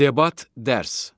Debat dərs.